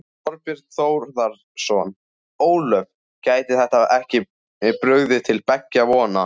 Þorbjörn Þórðarson: Ólöf, gæti þetta ekki brugðið til beggja vona?